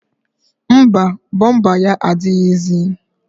Mba, bọmba ya adịghịzi